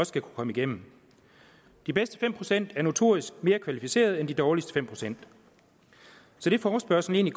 skal kunne komme igennem de bedste fem procent er notorisk mere kvalificerede end de dårligste fem procent det forespørgslen